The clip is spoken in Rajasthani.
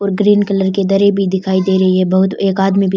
और ग्रीन कलर की दरी भी दिखाई दे रही है बहुत एक आदमी भी --